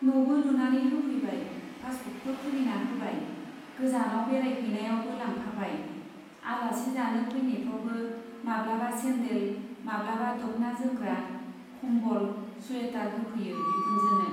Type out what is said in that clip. न'बो लुनानै होफैबाय , पासबुकबो खुलिना होबाय , गोजानाव बेरायहैनायावबो लांफाबाय , आलासि जानो फैनायफ्रावबो माब्लाबा सेन्देल , माब्लाबा दख्ना जोमग्रा , कम्बल , सुयेटार होफैयो बिखुनजोनो।